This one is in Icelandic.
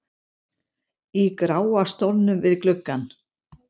í gráa stólnum við gluggann.